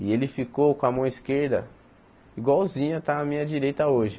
E ele ficou com a mão esquerda igualzinha, está na minha direita hoje.